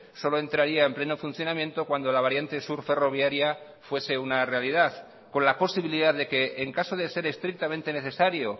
solo entraría en pleno funcionamiento cuando la variante sur ferroviaria fuese una realidad con la posibilidad de que en caso de ser estrictamente necesario